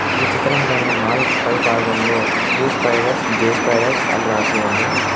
ఈ చిత్రంలోని మాల్ పై భాగంలో క్యూ స్పైడర్స్ జే స్పైడర్స్ అని రాసి ఉంది.